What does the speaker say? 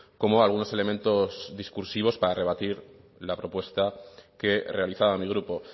como algunos elementos discursivos para rebatir la propuesta que realizaba mi grupo